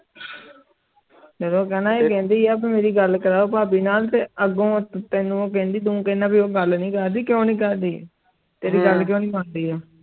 ਤੇ ਤੂੰ ਕੈਨਾ ਸੀ ਕੇਂਦੀ ਆਹ ਪੀ ਮੇਰੀ ਗੱਲ ਕਰੋ ਪਬੀ ਨਾਲ ਤੇ ਆਗੂ ਤੈਨੂੰ ਉਹ ਕੈਂਦੀ ਤੂੰ ਕੈਨਾ ਉਹ ਗੱਲ ਨਾਈ ਕਰਦੀ ਕ੍ਯੂਂ ਨਾਈ ਕਰਦੀ ਤੇਰੀ ਗੱਲ ਕ੍ਯੂਂ ਨਾਈ ਮੰਡੀ ਉਹ.